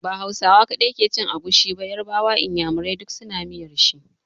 Ba Hausawa kaɗai ke cin agushi ba, yarbawa, inyamurai duk su na miyar shi.